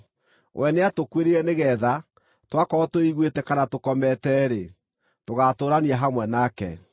We nĩatũkuĩrĩire nĩgeetha, twakorwo twĩiguĩte kana tũkomete-rĩ, tũgaatũũrania hamwe nake.